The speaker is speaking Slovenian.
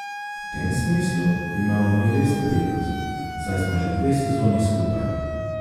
V tem smislu imamo mi res prednost, saj smo že dve sezoni skupaj.